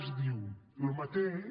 es diu el mateix